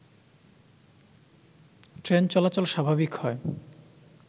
train চলাচল স্বাভাবিক হয়